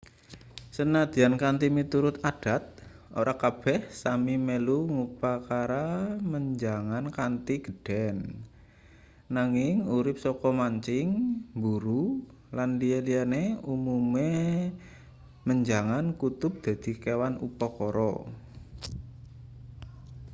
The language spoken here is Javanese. sanajan kanthi miturut adat ora kabeh sámi melu ngupakara menjangan kanthi gedhen nanging urip saka mancing mburu lan liya-liyane umume menjangan kutub dadi kewan upakara